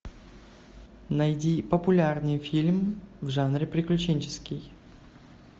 найди популярный фильм в жанре приключенческий